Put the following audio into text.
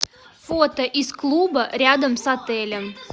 фото из клуба рядом с отелем